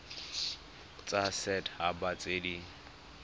tsa set haba tse di